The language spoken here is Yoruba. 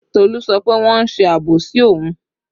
Tolu sọ pé wọ́n ń ṣe àbòsí òun